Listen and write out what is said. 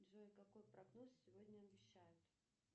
джой какой прогноз сегодня обещают